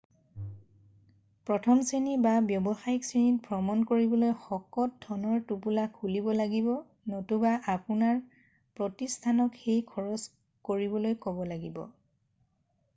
প্ৰথমত শ্ৰেণী বা ব্যৱসায়িক শ্ৰেণীত ভ্ৰমণ কৰিবলৈ শকত ধনৰ টোপোলা খুলিব লাগিব নতুবা আপোনাৰ প্ৰতিস্থানক সেই খৰচ কৰিবলৈ কব লাগিব।